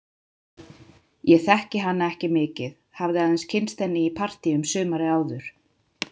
Ég þekkti hana ekki mikið, hafði aðeins kynnst henni í partíum sumarið áður.